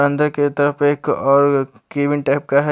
अंदर की तरफ एक और गेमिंग टाइप का है।